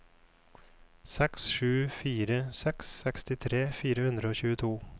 seks sju fire seks sekstitre fire hundre og tjueto